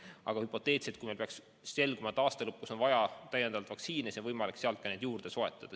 Aga hüpoteetiliselt, kui peaks selguma, et aasta lõpus on meil vaja täiendavalt vaktsiine, siis on võimalik sealt ka neid juurde soetada.